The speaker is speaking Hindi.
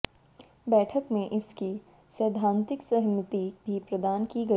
बैठक में इसकी सैद्धांतिक सहमति भी प्रदान की गई